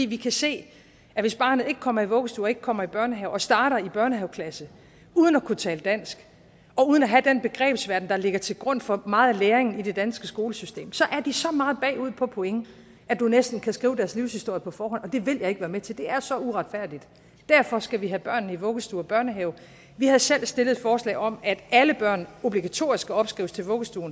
vi kan se at hvis barnet ikke kommer i vuggestue og ikke kommer i børnehave og starter i børnehaveklasse uden at kunne tale dansk og uden at have den begrebsverden der ligger til grund for meget læring i det danske skolesystem så er de så meget bagud på point at du næsten kan skrive deres livshistorie på forhånd og det vil jeg ikke være med til for det er så uretfærdigt derfor skal vi have børnene i vuggestue og børnehave vi havde selv stillet et forslag om at alle børn obligatorisk skal opskrives til vuggestue